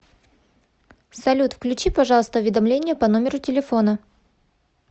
салют включи пожалуйста уведомления по номеру телефона